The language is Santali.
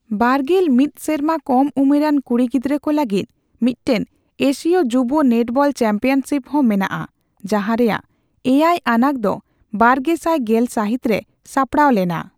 ᱵᱟᱨᱜᱮᱞ ᱢᱤᱛ ᱥᱮᱨᱢᱟ ᱠᱚᱢ ᱩᱢᱮᱨᱟᱱ ᱠᱩᱲᱤ ᱜᱤᱫᱽᱨᱟᱹ ᱠᱚ ᱞᱟᱹᱜᱤᱫ ᱢᱤᱫᱴᱟᱝ ᱮᱥᱤᱭᱚ ᱡᱩᱵᱚ ᱱᱮᱴᱵᱚᱞ ᱪᱟᱢᱯᱤᱭᱚᱱᱥᱤᱯ ᱦᱚᱸ ᱢᱮᱱᱟᱜᱼᱟ, ᱡᱟᱦᱟᱸ ᱨᱮᱭᱟᱜ ᱮᱭᱟᱭ ᱟᱱᱟᱜ ᱫᱚ ᱵᱟᱨᱜᱮᱥᱟᱭ ᱜᱮᱞ ᱥᱟᱹᱦᱤᱛ ᱨᱮ ᱥᱟᱯᱲᱟᱣ ᱞᱮᱱᱟ ᱾